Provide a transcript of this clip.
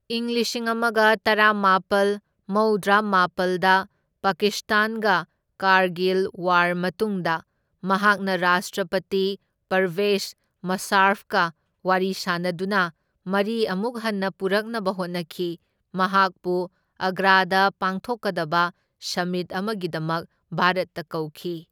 ꯏꯪ ꯂꯤꯁꯤꯡ ꯑꯃꯒ ꯇꯔꯥꯃꯥꯄꯜ ꯃꯧꯗ꯭ꯔꯥꯃꯥꯄꯜꯗ ꯄꯥꯀꯤꯁꯇꯥꯟꯒ ꯀꯥꯔꯒꯤꯜ ꯋꯥꯔ ꯃꯇꯨꯡꯗ ꯃꯍꯥꯛꯅ ꯔꯥꯁꯇ꯭ꯔꯄꯇꯤ ꯄꯔꯕꯦꯖ ꯃꯨꯁꯥꯔꯐꯀ ꯋꯥꯔꯤ ꯁꯥꯅꯗꯨꯅ ꯃꯔꯤ ꯑꯃꯨꯛ ꯍꯟꯅ ꯄꯨꯔꯛꯅꯕ ꯍꯣꯠꯅꯈꯤ, ꯃꯍꯥꯛꯄꯨ ꯑꯒ꯭ꯔꯥꯗ ꯄꯥꯡꯊꯣꯛꯀꯗꯕ ꯁꯃꯤꯠ ꯑꯃꯒꯤꯗꯃꯛ ꯚꯥꯔꯠꯇ ꯀꯧꯈꯤ꯫